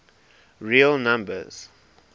real numbers